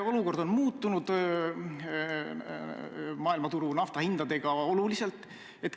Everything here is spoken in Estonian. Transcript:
Olukord maailmaturul on muutunud, nafta hinnad oluliselt langenud.